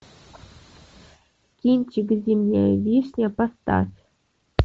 кинчик зимняя вишня поставь